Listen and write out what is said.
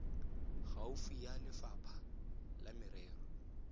gaufi ya lefapha la merero